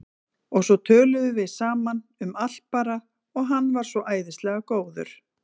Og svo töluðum við saman, um allt bara, og hann var svo æðislega góður.